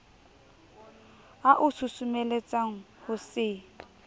a o susumeletsang ho se